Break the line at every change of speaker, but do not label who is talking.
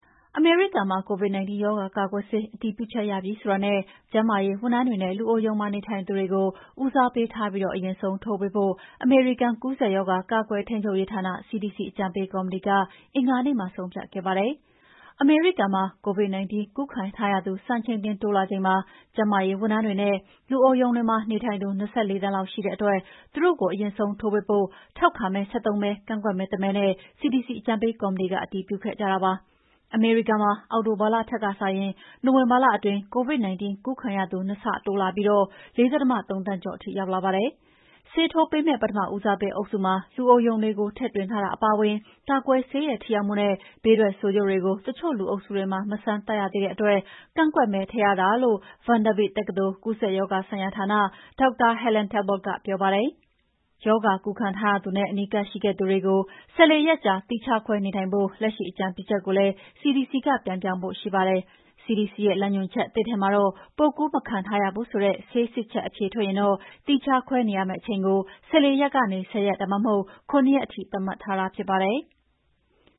အမေရိကန်မှာ COVID-19 ရောဂါကာကွယ်ဆေး အတည်ပြုချက်ရပြီဆိုတာနဲ့ ကျန်းမာရေးဝန်ထမ်းတွေနဲ့ လူအိုရုံမှာ နေထိုင်သူတွေကို ဦးစားပေးထားပြီး အရင်ဆုံး ထိုးပေးဖို့ အမေရိကန် ကူးစက်ရောဂါ ကာကွယ်ထိန်းချုပ်ရေးဌာန CDC အကြံပေးကော်မတီက အင်္ဂါနေ့မှာ ဆုံးဖြတ်ခဲ့ပါတယ်။ အမေရိကန်မှာ COVID-19 ကူးခံရသူ စံချိန်တင်တိုးလာချိန်မှာ ကျန်းမာရေးဝန်ထမ်းတွေနဲ့ လူအိုရုံတွေမှာ နေထိုင်သူ ၂၄ သန်းလောက် ရှိတဲ့အတွက် သူတို့ကို အရင်ဆုံးထိုးပေးဖို့ ထောက်ခံမဲ ၁၃ မဲ ကန့်ကွက်မဲ ၁ မဲနဲ့ CDC အကြံပေးကော်မတီက အတည်ပြုခဲ့ကြတာပါ။ အမေရိကန်မှာ အောက်တိုဘာလထက်စာရင် နိုဝင်ဘာလအတွင်း COVID-19 ကူးခံရသူနှစ်ဆတိုးလာပြီး ၄.၃သန်းကျော်ထိရောက်လာပါတယ်။ ဆေးထိုးပေးမယ့် ပထမဦးစားပေးအုပ်စုမှာ လူအိုရုံတွေကို ထည့်သွင်းထားတာအပါအဝင် ကာကွယ်ဆေးရဲ့ ထိရောက်မှုနဲ့ ဘေးထွက်ဆိုးကျိုးတွေကို တချို့လူအုပ်စုတွေမှာ မစမ်းသပ်ရသေးတဲ့အတွက် ကန့်ကွက်မဲထည့်ရတာလို့ Vanderbilt တက္ကသိုလ် ကူးစက်ရောဂါဆိုင်ရာဌာနက ဒေါက်တာ Helen Talbot ကပြောပါတယ်။ ရောဂါကူးခံထားရသူနဲ့ အနီးကပ်ရှိခဲ့သူတွေကို ၁၄ ရက်ကြာသီးခြားခွဲနေထိုင်ဖို့ လက်ရှိအကြံပြုချက်ကိုလည်း CDC က ပြန်ပြောင်းဖို့ရှိပါတယ်။ CDC ရဲ့ လမ်းညွှန်ချက်သစ်ထဲမှာတော့ ပိုးကူးမခံထားရဘူးဆိုတဲ့ ဆေးစစ်ချက် အဖြေထွက်ရင်တော့ သီးခြားခွဲနေရမယ့်အချိန်ကို ၁၄ ရက်ကနေ ၁၀ ရက် ဒါမှမဟုတ် ၇ ရက်ထိသတ်မှတ်ထားတာဖြစ်ပါတယ်။